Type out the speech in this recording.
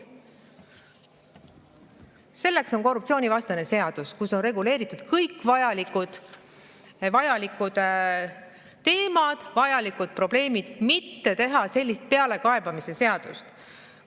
Selleks on korruptsioonivastane seadus, kus on reguleeritud kõik vajalikud teemad, vajalikud probleemid, teha sellist pealekaebamise seadust.